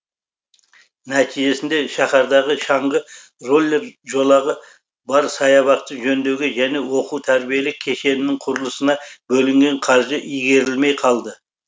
нәтижесінде шаһардағы шаңғы роллер жолағы бар саябақты жөндеуге және оқу тәрбиелік кешенінің құрылысына бөлінген қаржы игерілмей қалды